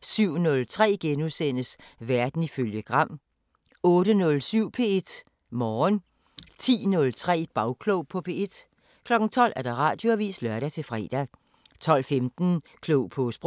* 07:03: Verden ifølge Gram * 08:07: P1 Morgen 10:03: Bagklog på P1 12:00: Radioavisen (lør-fre) 12:15: Klog på Sprog